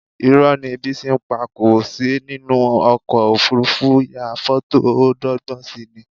Irọ́ ni Bísí pa, kò sí nínú ọkọ̀ òfuurufú ya fọ́tò ó dọ́gbọ́n si ni